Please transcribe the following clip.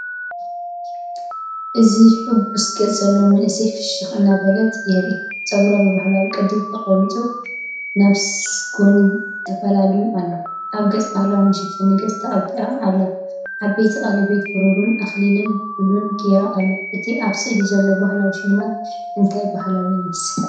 እዚ ሕጉስ ገጽ ዘለዋ መንእሰይ፡ፍሽኽ እናበለት የርኢ። ጸጉራ ብባህላዊ ቅዲ ተቐሪጹ ናብ ጎኒ ተፈላልዩ ኣሎ። ኣብ ገጻ ባህላዊ መሸፈኒ ገጽ ተቐቢኣ ኣላ። ዓበይቲ ቀለቤት ብሩርን ኣኽሊል ሉልን ገይራ ኣላ። እቲ ኣብ ስእሊ ዘሎ ባህላዊ ስልማት እንታይ ባህሊ ይመስል?